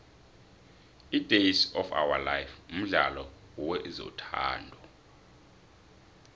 idays of ourlife mdlalo wezothando